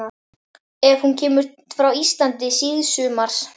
Er hún kemur frá Íslandi síðsumars